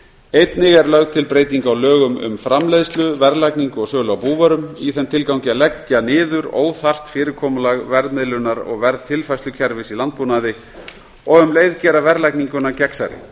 einnig er lögð til breyting á lögum um framleiðslu verðlagningu og sölu á búvörum í þeim tilgangi að leggja niður óþarft fyrirkomulag verðmiðlunar og verðtilfærslukerfis í landbúnaði og um leið gera verðlagninguna gegnsærri